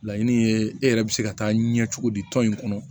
Laɲini ye e yɛrɛ bɛ se ka taa ɲɛ cogo di tɔn in kɔnɔ